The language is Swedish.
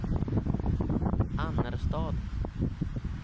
Annerstad